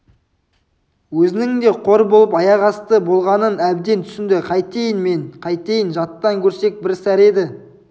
өзінің де қор болып аяқасты болғанын әбден түсінді қайтейін мен қайтейін жаттан көрсек бір сәрі еді